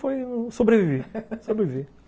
Foi sobreviver, sobreviver,